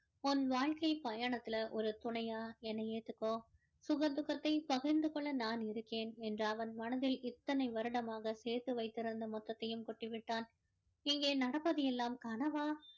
உன் வாழ்க்கை பயணத்துல ஒரு துணையா என்னை ஏத்துக்கோ சுக துக்கதை பகிர்ந்து கொள்ள நான் இருக்கேன் என்ற அவன் மனதில இத்தனை வருடமாக சேர்த்து வைத்திருந்த மொத்தத்தையும் கொட்டி விட்டான் இங்கே நடப்பது எல்லாம் கனவா